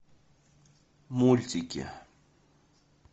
мультики